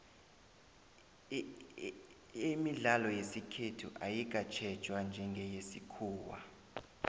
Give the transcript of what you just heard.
imidlalo yesikhethu ayikatjhejwa njengeyesikhuwa